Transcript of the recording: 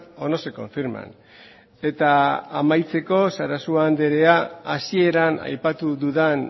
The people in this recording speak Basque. o no se confirman eta amaitzeko sarasua andrea hasieran aipatu dudan